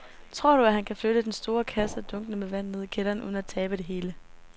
Tror du, at han kan flytte den store kasse og dunkene med vand ned i kælderen uden at tabe det hele?